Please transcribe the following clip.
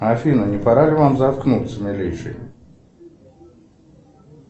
афина не пора ли вам заткнуться милейший